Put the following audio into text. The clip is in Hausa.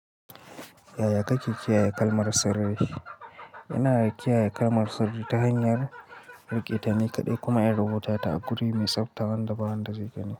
Yaya kake kiyaye kalmar sarari? Ina kiyaye kalmar sarari ta hanyar rike ta ni kaɗai kuma in rubuta ta a guri mai tsafta wanda ba wanda zai gani.